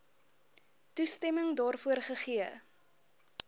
toestemming daarvoor gegee